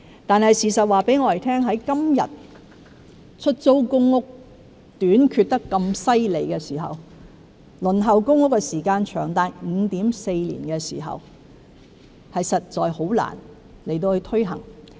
但是，事實告訴我們，在今天出租公屋數目嚴重短缺、輪候公屋的時間長達 5.4 年的時候，實在難以推行。